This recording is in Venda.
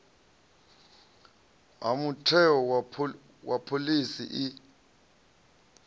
ha mutheo wa phoḽisi i